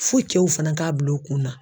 Fo cɛw fana k'a bila u kun na.